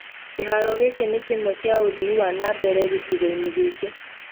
kĩharo gikĩ nĩ Kimwe kia ũthi wa na mbere gĩcigo-inĩ gĩkĩ.